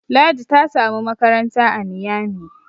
Ladi ta samu makaranta a Niyami